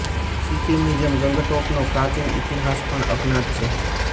સીક્કીમ ની જેમ ગંગટોક નો પ્રાચીન ઇતિહાસ પણ અજ્ઞાત છે